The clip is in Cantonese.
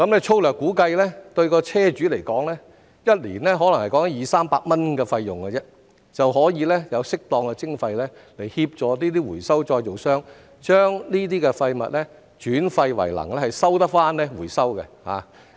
粗略估計，對車主來說，每年可能只是二三百元的費用，便已經可以有適當的徵費來協助回收再造商把這些廢物轉廢為能，可以回收。